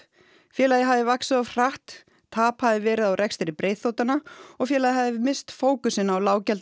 félagið hafi vaxið of hratt tap hafi verið á rekstri og félagið hafi misst fókusinn á